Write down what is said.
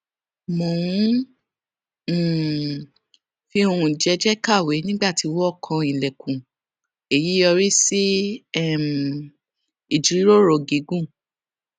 mò ń um fi ohùn jééjéé kàwé nígbà tí wón kan ilèkùn èyí sì yọrí sí um ìjíròrò gígùn